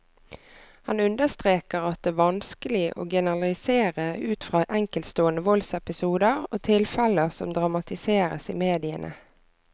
Han understreker at det vanskelig å generalisere ut fra enkeltstående voldsepisoder og tilfeller som dramatiseres i mediene.